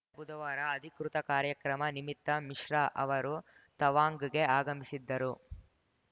ಬುಧವಾರ ಅಧಿಕೃತ ಕಾರ್ಯಕ್ರಮ ನಿಮಿತ್ತ ಮಿಶ್ರಾ ಅವರು ತವಾಂಗ್‌ಗೆ ಆಗಮಿಸಿದ್ದರು